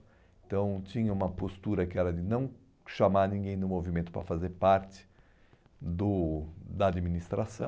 Então tinha uma postura que era de não chamar ninguém do movimento para fazer parte do da